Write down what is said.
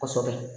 Kosɛbɛ